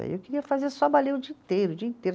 Aí eu queria fazer só o dia inteiro, o dia inteiro.